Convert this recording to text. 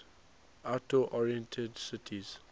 outdoor oriented city